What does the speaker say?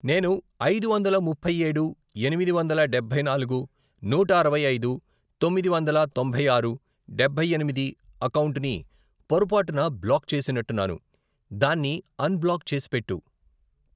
నేను ఐదు వందల ముప్పై ఏడు, ఎనిమిది వందల డబ్బై నాలుగు, నూట అరవై ఐదు, తొమ్మిది వందల తొంభై ఆరు, డబ్బై ఎనిమిది, అకౌంటుని పొరపాటున బ్లాక్ చేసినట్టున్నాను, దాన్ని అన్ బ్లాక్ చేసిపెట్టు.